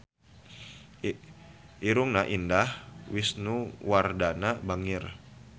Irungna Indah Wisnuwardana bangir